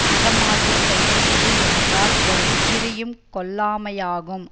அறமாகிய செயல் எது என்றால் ஒரு உயிரையும் கொல்லாமையாகும்